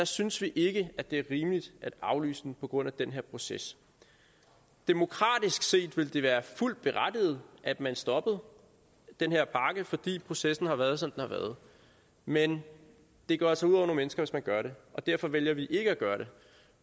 synes ikke at det er rimeligt at aflyse på grund af den her proces demokratisk set ville det være fuldt berettiget at man stoppede den her pakke fordi processen har været som den har været men det går altså ud over nogle mennesker hvis man gør det og derfor vælger vi ikke at gøre det